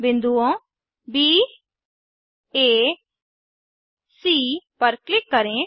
बिन्दुओं ब आ सी पर क्लिक करें